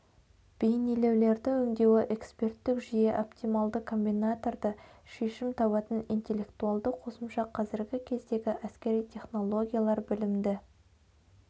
бейнелеулерді өңдеуі эксперттік жүйе оптималды комбинаторды шешім табатын интелектуалды қосымша қазіргі кездегі әскери технологиялар білімді